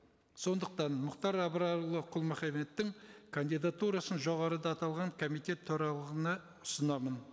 сондықтан мұхатр абрарұлы құл мұхаммедтің кандидатурасын жоғарыда аталған комитет ұсынамын